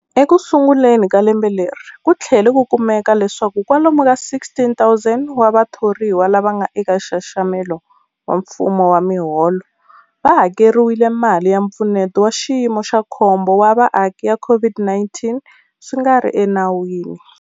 Ekusunguleni ka lembe leri, ku tlhele ku kumeka leswaku kwalomu ka 16,000 wa vathoriwa lava nga eka nxaxamelo wa mfumo wa miholo va hakeriwile mali ya Mpfuneto wa Xiyimo xa Khombo wa Vaaki ya COVID-19 swi nga ri enawini.